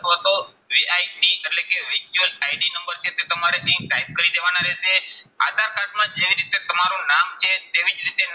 અથવા તો એટલે કે ID નંબર છે તે તમારે અહીં type કરી દેવાના રહેશે. આધાર કાર્ડમાં જેવી રીતે તમારું નામ છે, તેવી જ રીતે